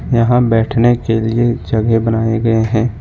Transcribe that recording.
यहां बैठने के लिए जगह बनाए गए हैं।